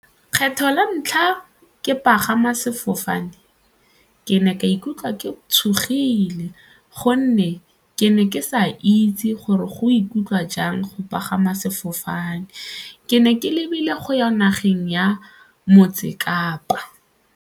Kgetlho la ntlha ke pagama sefofane ke ne ka ikutlwa ke tshogile gonne ke ne ke sa itse gore go ikutlwa jang go pagama sefofane, ke ne ke lebile go ya nageng ya Motse Kapa.